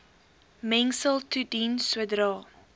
mengsel toedien sodra